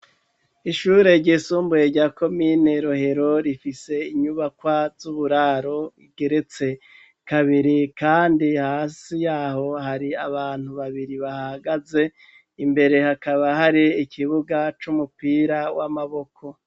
ishure gisumbuye rya komine rohero rifise inyubakwa z'uburaro bugeretse kabiri kandi hasi yaho hari abantu babiri bahagaze imbere hakaba hari ikibuga c'umupira w'amaboko